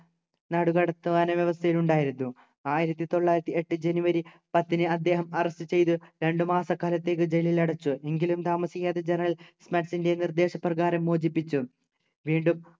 നാടുകടത്തുവാനും വ്യവസ്ഥയിലുണ്ടായിരുന്നു ആയിരത്തി തൊള്ളായിരത്തി എട്ടു ജനുവരി പത്തിന് അദ്ദേഹം arrest ചെയ്തു രണ്ടുമാസക്കാലത്തേക്ക് ജയിലിലടച്ചു എങ്കിലും താമസിയാതെ general സ്മിത്ത്ൻ്റെ നിർദേശ പ്രകാരം മോചിപ്പിച്ചു വീണ്ടും